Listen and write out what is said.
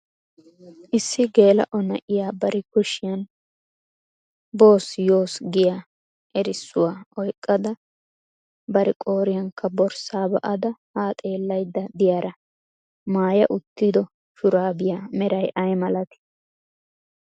Issi gel"o na'iyaa bari kushiyan "boss yoss" giya erissuwaa oyqqada bari qooriyankka borssa ba'ada ha xeellaydda diyaara maayya uttidi shurabbiya meray aymalati?